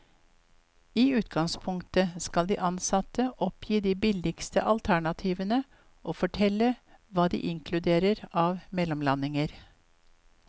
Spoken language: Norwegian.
I utgangspunktet skal de ansatte oppgi de billigste alternativene og fortelle hva de inkluderer av mellomlandinger.